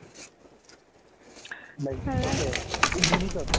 like, okay minute টত?